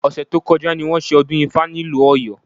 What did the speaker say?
Ọ̀sẹ̀ tó kọjá ni wọ́n ṣe ọdún ifá nílùú Ọ̀yọ́